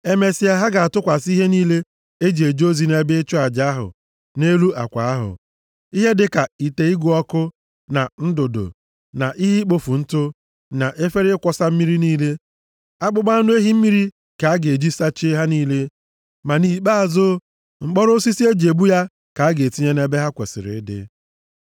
Emesịa ha ga-atụkwasị ihe niile e ji eje ozi nʼebe ịchụ aja ahụ nʼelu akwa ahụ, ihe dịka ite ịgụ ọkụ, na ndụdụ, na ihe ikpofu ntụ, na efere ịkwọsa mmiri niile. Akpụkpọ anụ ehi mmiri ka a ga-eji sachie ha niile. Ma nʼikpeazụ, mkpọrọ osisi e ji ebu ya ka a ga-etinye nʼebe ha kwesiri ịdị.